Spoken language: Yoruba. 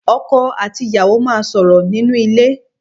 Ọkọ̀ àti ìyàwó máa sọ̀rọ̀ nínú ilé